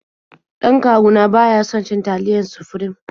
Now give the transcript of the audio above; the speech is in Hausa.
Dan kawu na ba ya son cin taliyar Sufrim.